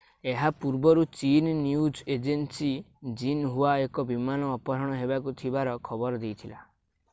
ଏହା ପୂର୍ବରୁ ଚୀନ୍ ନ୍ୟୁଜ୍ ଏଜେନ୍ସୀ ଜିନ୍‌ହୁଆ ଏକ ବିମାନ ଅପହରଣ ହେବାକୁ ଥିବାର ଖବର ଦେଇଥିଲା।